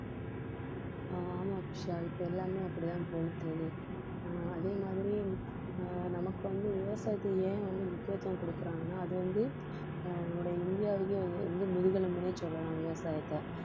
ஆமாம் அபிஷா இப்ப எல்லாமே அப்படிதான் போயிட்டு இருக்கு ஆஹ் அதே மாதிரி ஆஹ் நமக்கு வந்து விவசாயத்தை ஏன் வந்து முக்கியத்துவம் கொடுக்கறாங்கன்னா அது வந்து நம்முடைய இந்தியாவுக்கே வந்~ வந்து முதுகெலும்புன்னே சொல்லலாம் விவசாயத்தை